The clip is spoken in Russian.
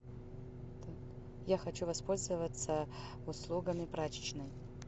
я хочу воспользоваться услугами прачечной